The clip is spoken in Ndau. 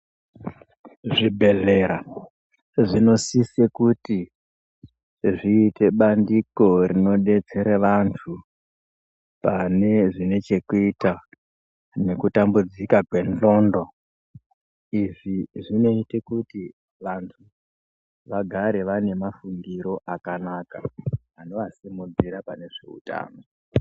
Muzvibhedhlera zvinosisa kuti zviite bandiko rinodetsera vanthu pane zvinechekuita nekutambudzika kwendxondo izvi zvinoite kuti vanthu vagare vane mafungiro akanaka anovasimudzira pane zveutano.